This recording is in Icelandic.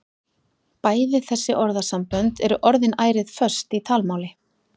Bæði þessi orðasambönd eru orðin ærið föst í talmáli.